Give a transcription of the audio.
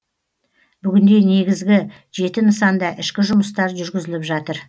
бүгінде негізгі жеті нысанда ішкі жұмыстар жүргізіліп жатыр